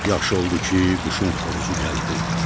Çox yaxşı oldu ki, quşun xoruzu gəldi.